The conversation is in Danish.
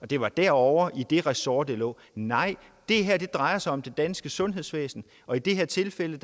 det var derovre i det ressort det lå nej det her drejer sig om det danske sundhedsvæsen og i det her tilfælde